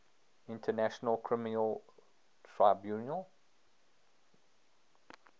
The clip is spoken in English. international criminal tribunal